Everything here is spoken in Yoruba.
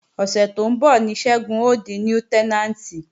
Ọ̀sẹ̀ tó ń bọ̀ ní Ṣẹ́gun ó di Lútẹ́nàǹtì